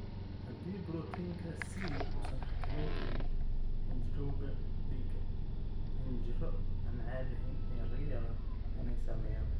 Haddii borotiinka C uusan xakameyn karin xinjirowga dhiigga, xinjiro aan caadi ahayn ayaa laga yaabaa inay sameeyaan.